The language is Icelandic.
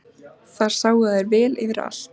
Þar sáu þær vel yfir allt.